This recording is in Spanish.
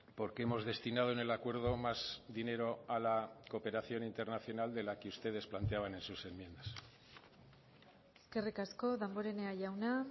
porque hemos destinado en el acuerdo más dinero a la cooperación internacional de la que ustedes planteaban en sus enmiendas eskerrik asko damborenea jauna